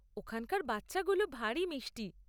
ওখানকার বাচ্চাগুলো ভারি মিষ্টি।